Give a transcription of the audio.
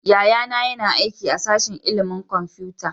Yayana yana aiki a sashin ilimin kwamfuta